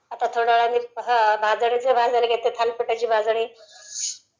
आता थोड्यावेळाने भाजणीचं भाजायला घेते ..थालिपीठाची भाजणी